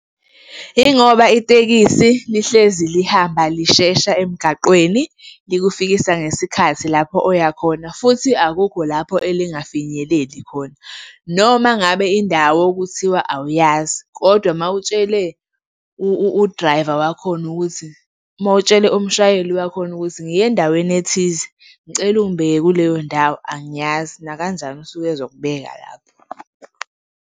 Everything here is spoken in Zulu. Yingoba itekisi lihlezi lihamba lishesha emgaqweni likufikisa ngesikhathi lapho oyakhona futhi akukho lapho elingafinyeleli khona. Noma ngabe indawo kuthiwa awuyazi kodwa uma utshele u-driver wakhona ukuthi, uma utshele umshayeli wakhona ukuthi, ngiya endaweni ethize ngicela ungibeke kuleyo ndawo angiyazi, nakanjani usuke ezokubeka lapho.